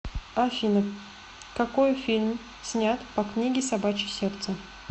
афина какои фильм снят по книге собачье сердце